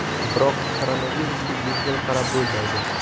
Biroq koronavirusga yengil qarab bo‘lmaydi.